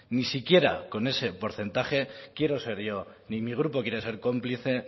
ni siquiera con ese porcentaje quiero ser yo ni mi grupo quiere ser cómplice